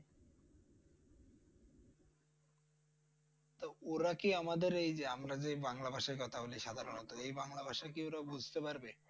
ওরা কি আমদের এই যে আমরা যে বাংলা ভাষায় কথা বলি সাধারণত এই বাংলা ভাষা কি ওরা বুঝতে পারবে?